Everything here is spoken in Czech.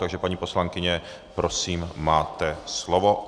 Takže paní poslankyně, prosím, máte slovo.